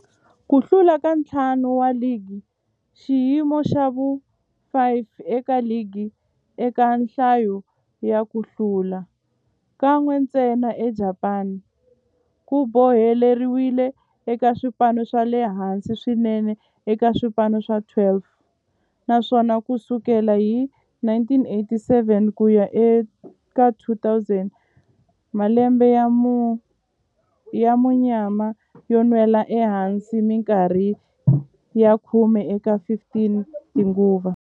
Ku hlula ka ntlhanu wa ligi, xiyimo xa vu-5 eka ligi eka nhlayo ya ku hlula, kan'we ntsena eJapani, ku boheleriwile eka swipano swa le hansi swinene eka swipano swa 12 naswona ku sukela hi 1987 ku ya eka 2001, malembe ya munyama yo nwela ehansi minkarhi ya khume eka 15 tinguva.